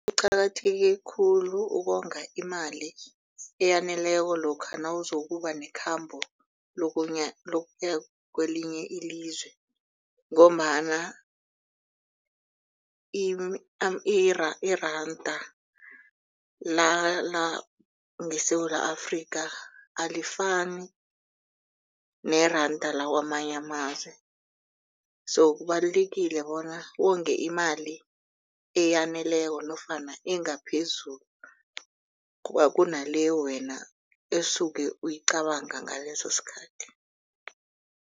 Kuqakatheke khulu ukonga imali eyaneleko lokha nawuzokuba nekhambo lokuya kwelinye ilizwe. Ngombana iranda langeSewula Afrika alifani neranda lakwamanye amazwe so kubalulekile bona wonge imali eyaneleko nofana engaphezulu kunale wena osuke uyicabanga ngaleso sikhathi.